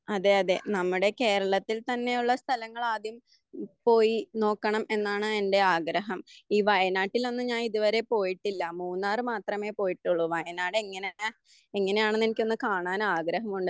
അതെ അതെ നമ്മുടെ കേരളത്തിലുള്ള സ്ഥലങ്ങൾ ആദ്യം ക്കും പോയി നോക്കണം എന്നാണ് എന്റെ ആഗ്രഹം. ഈ വയനാട്ടിലൊന്നും ഞാൻ ഇത് വരെ പോയിട്ടില്ല. മൂന്നാറിൽ മാത്രമേ പോയിട്ടൊള്ളൂ. വയനാട് എങ്ങനെയാ എങ്ങനെയാണെന്ന് എനിക്ക് കാണാൻ ആഗ്രഹമുണ്ട്.